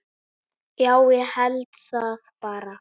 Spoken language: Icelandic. Já, ég held það bara.